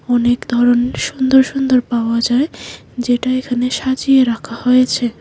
অনেক ধরন সুন্দর সুন্দর পাওয়া যায় যেটা এখানে সাজিয়ে রাখা হয়েছে।